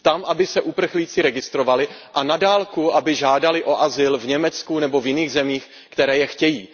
Tam aby se uprchlíci registrovali a na dálku, aby žádali o azyl v Německu nebo v jiných zemích, které je chtějí.